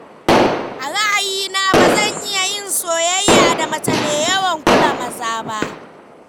A ra'ayina ba zan iya yin soyayya da mace mai yawan kula maza ba.